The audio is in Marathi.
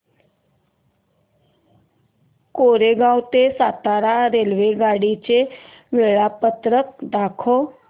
कोरेगाव ते सातारा रेल्वेगाडी चे वेळापत्रक दाखव